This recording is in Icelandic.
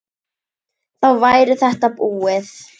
Þá væri þetta búið.